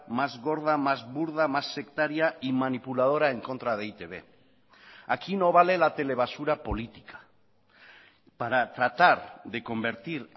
más gorda más burda más sectaria y manipuladora en contra de e i te be aquí no vale la telebasura política para tratar de convertir